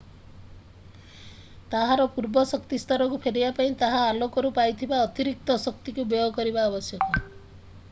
ତାହାର ପୂର୍ବ ଶକ୍ତି ସ୍ତରକୁ ଫେରିବା ପାଇଁ ତାହା ଆଲୋକରୁ ପାଇଥିବା ଅତିରିକ୍ତ ଶକ୍ତିକୁ ବ୍ୟୟ କରିବା ଆବଶ୍ୟକ